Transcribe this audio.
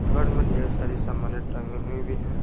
घर में ढेर सारी सामान्य टंगे हुई भी हैं।